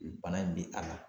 Bana in bɛ k'a la.